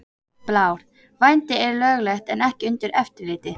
Blár: Vændi er löglegt en ekki undir eftirliti.